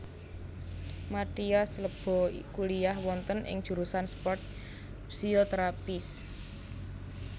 Mathias Ibo kuliyah wonten ing jurusan sport physiotherapists